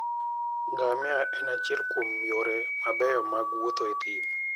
Ngamia en achiel kuom yore mabeyo mag wuotho e thim.